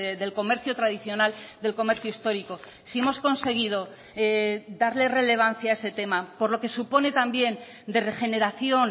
del comercio tradicional del comercio histórico si hemos conseguido darle relevancia a ese tema por lo que supone también de regeneración